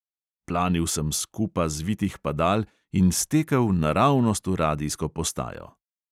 Planil sem s kupa zvitih padal in stekel naravnost v radijsko postajo.